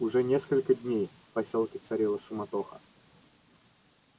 уже несколько дней в посёлке царила суматоха